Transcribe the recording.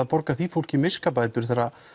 að borga því fólki miskabætur